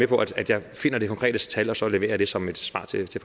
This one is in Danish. på at jeg finder det konkrete tal og så leverer jeg det som et svar til til